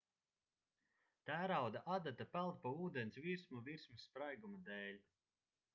tērauda adata peld pa ūdens virsmu virsmas spraiguma dēļ